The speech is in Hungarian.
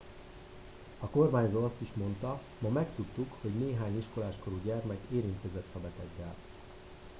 a kormányzó azt is monda ma megtudtuk hogy néhány iskolás korú gyermek érintkezett a beteggel